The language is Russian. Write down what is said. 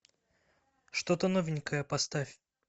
что то новенькое поставь